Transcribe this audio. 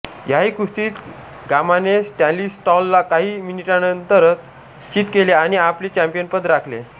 याही कुस्तीत गामाने स्टॅनिस्लॉसला काही मिनिटांनतर चीत केले आणि आपले चॅंपियनपद राखले